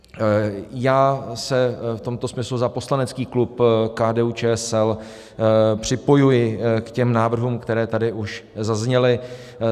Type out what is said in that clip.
Já se v tomto smyslu za poslanecký klub KDU-ČSL připojuji k těm návrhům, které tady už zazněly.